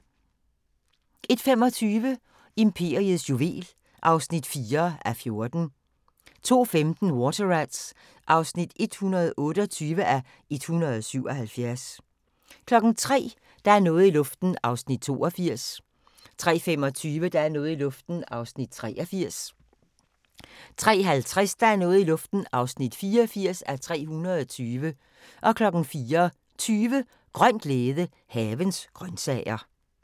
01:25: Imperiets juvel (4:14) 02:15: Water Rats (128:177) 03:00: Der er noget i luften (82:320) 03:25: Der er noget i luften (83:320) 03:50: Der er noget i luften (84:320) 04:20: Grøn glæde – Havens grøntsager